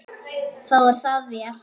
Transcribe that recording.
Þá er það vel.